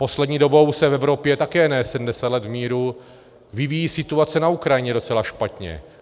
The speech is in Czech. Poslední dobou se v Evropě, také ne 70 let v míru, vyvíjí situace na Ukrajině docela špatně.